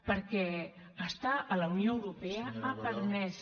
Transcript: perquè estar a la unió europea ha permès